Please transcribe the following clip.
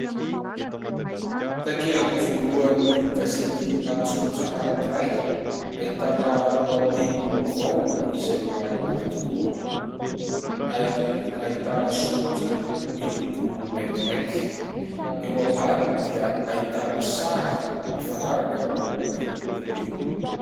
Takelaka voalohan'ny gazety an-tsoratra anankiray ; ahitana lohatenim-baovao izay mibaribary tokoa. Ary ahitana soratra miloko maintimainty ; eo ambaniny dia ahitana sary mifanaraka amin'ny lohatenim-baovao io.